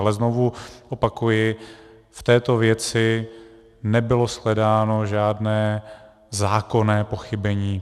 Ale znovu opakuji, v této věci nebylo shledáno žádné zákonné pochybení.